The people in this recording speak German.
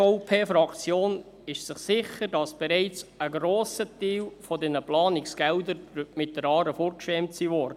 Die SVP-Fraktion ist sich sicher, dass bereits ein grosser Teil dieser Planungsgelder mit der Aare fortgeschwemmt wurden.